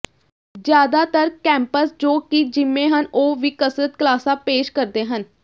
ਜ਼ਿਆਦਾਤਰ ਕੈਂਪਸ ਜੋ ਕਿ ਜਿੰਮੇਂ ਹਨ ਉਹ ਵੀ ਕਸਰਤ ਕਲਾਸਾਂ ਪੇਸ਼ ਕਰਦੇ ਹਨ